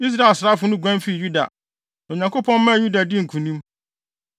Israel asraafo no guan fii Yuda, na Onyankopɔn maa Yuda dii nkonim.